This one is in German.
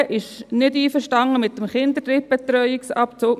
Die SVP ist nicht einverstanden mit dem Kinderdrittbetreuungsabzug.